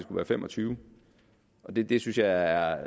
være fem og tyve og det det synes jeg